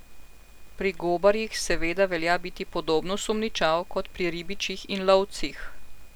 Pri gobarjih seveda velja biti podobno sumničav kot pri ribičih in lovcih.